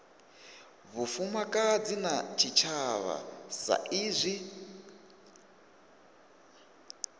vhufumakadzi na tshitshavha sa izwi